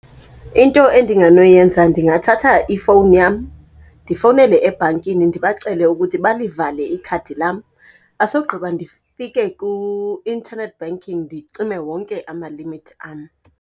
Into endingenoyenza ndingathatha ifowuni yam ndifowunele ebhankini ndibacele ukuthi balivale ikhadi lam, asogqiba ndifike ku-internet banking ndicime wonke ama-limit am.